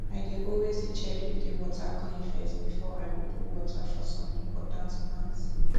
i dey always dey check if de water clean first before i go put water for som important plants